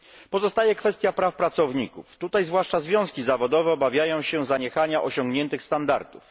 Pozostaje kwestia praw pracowników tutaj zwłaszcza związki zawodowe obawiają się zaniechania osiągniętych standardów.